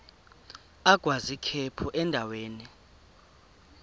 agwaz ikhephu endaweni